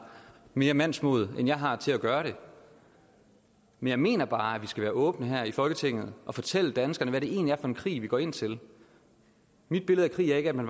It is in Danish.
mere mandsmod end jeg har til at gøre det men jeg mener bare at vi skal være åbne her i folketinget og fortælle danskerne hvad det egentlig for en krig vi går ind til mit billede af krig er ikke at man